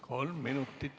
Kolm minutit juurde.